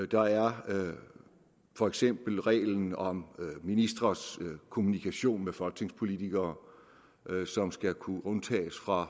der er for eksempel reglen om ministres kommunikation med folketingspolitikere som skal kunne undtages fra